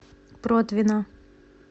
протвино